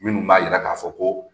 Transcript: Minnu b'a yira k'a fɔ ko